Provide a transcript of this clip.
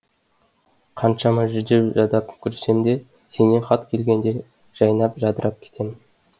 қаншама жүдеп жадап жүрсем де сенен хат келгенде жайнап жадырап кетемін